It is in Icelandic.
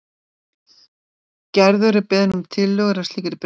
Gerður er beðin um tillögur að slíkri skreytingu.